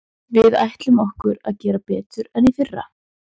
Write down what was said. Við ætlum okkur að gera betur en í fyrra.